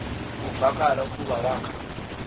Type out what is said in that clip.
kuvakala ukuba wakha